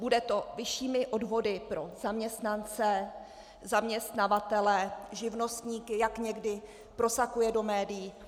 Bude to vyššími odvody pro zaměstnance, zaměstnavatele, živnostníky, jak někdy prosakuje do médií?